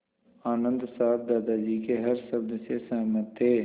आनन्द साहब दादाजी के हर शब्द से सहमत थे